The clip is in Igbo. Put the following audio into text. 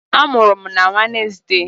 A mụrụ m na Wenezdee.